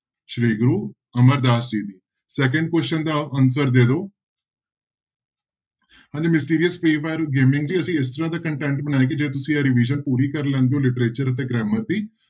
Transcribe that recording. ਸ੍ਰੀ ਗੁਰੂ ਅਮਰਦਾਸ ਜੀ ਦੀ second question ਦਾ answer ਦੇ ਦਓ ਹਾਂਜੀ ਗੇਮਿੰਗ ਜੀ ਅਸੀਂ ਇਸ ਤਰ੍ਹਾਂ content ਬਣਾਇਆ ਕਿ ਜੇ ਤੁਸੀਂ ਇਹ revision ਪੂਰੀ ਕਰ ਲੈਂਦੇ ਹੋ literature ਅਤੇ grammar ਦੀ